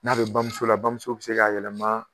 N'a bɛ bamuso la bamuso bɛ se k'a yɛlɛma